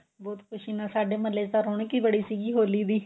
ਬਹੁਤ ਖੁਸ਼ੀ ਨਾਲ ਸਾਡੇ ਮਹੱਲੇ ਚ ਤਾਂ ਰੋਣਕ ਹੀ ਬੜੀ ਸੀਗੀ ਹੋਲੀ ਦੀ